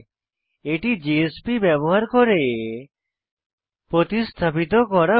এটি জেএসপি ব্যবহার করে প্রতিস্থাপিত করা ভালো